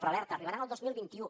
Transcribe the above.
però alerta arribaran el dos mil vint u